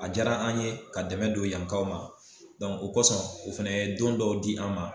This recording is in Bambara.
A diyara an ye ka dɛmɛ don yankaw ma o kosɔn o fɛnɛ ye don dɔw di an ma,